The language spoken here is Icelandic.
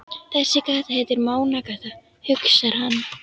Þessi gata heitir Mánagata, hugsar hann.